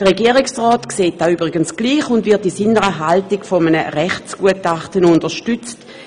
Der Regierungsrat sieht dies übrigens auch so und wird darin von einem Rechtsgutachten unterstützt.